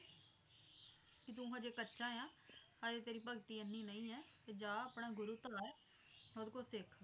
ਕੇ ਤੂੰ ਹਜੇ ਕੱਚਾ ਆ ਹਜੇ ਤੇਰੀ ਭਗਤੀ ਇੰਨੀ ਨਹੀਂ ਹੈ ਤੇ ਜਾ ਆਪਣਾ ਗੁਰੂ ਧਾਰ ਤੇ ਉਹਦੇ ਕੋਲੋਂ ਸਿੱਖ